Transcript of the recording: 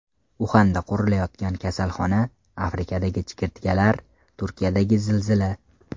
Uxanda qurilayotgan kasalxona, Afrikadagi chigirtkalar, Turkiyadagi zilzila.